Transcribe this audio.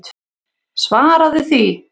Svaraðu því!